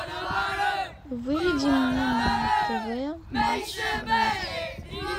выведи мне на тв матч боец